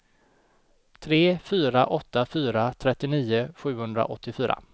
tre fyra åtta fyra trettionio sjuhundraåttiofyra